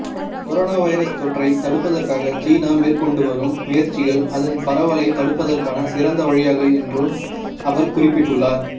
corona virus தொற்றை தடுப்பதற்காக சீனா மேற்கொண்டுவரும் முயற்சிகள் அதன் பரவலைத் தடுப்பதற்கான சிறந்த வழியாகும் என்றும் அவர் குறிப்பிட்டுள்ளார்